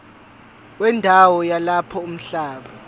wendawo yalapho umhlaba